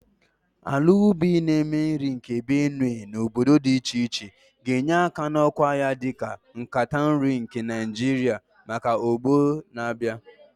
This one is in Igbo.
Ala ubi na-eme nri nke Benue na obodo dị iche iche ga-enye aka n'ọkwa ya dị ka "Nkata nri nke Naijiria " maka ọgbọ na-abịa.